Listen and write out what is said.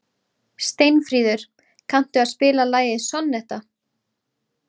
Steinfríður, kanntu að spila lagið „Sonnetta“?